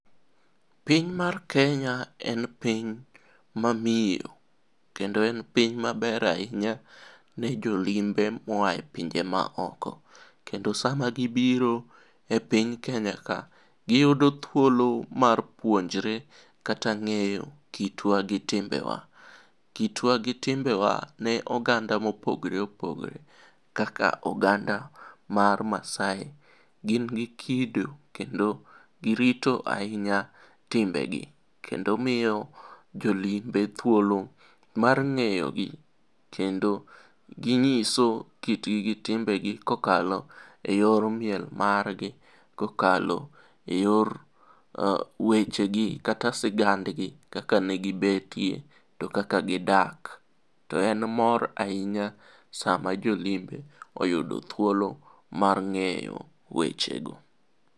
Piny mar Kenya en piny mamiyo kendo en piny maber ahinya ne jolimbe moa e pinje maoko kendo sama gibiro e piny Kenya ka, giyudo thuolo mar puonjre kata ng'eyo kitwa gi timbewa. Kitwa gi timbewa ne oganda mopogre opogre kaka oganda mar Maasai gin gi kido kendo girito ahinya timbegi kendo miyo jolimbe thuolo mar ng'eyogi kendo ging'iso kitgi gi timbegi kokalo e yor miel margi kokalo e yor wechegi kata sigandgi kaka negibetie to kaka gidak, to en moro ahinya sama jolimbe oyudo thuolo mar ng'eyo wechego.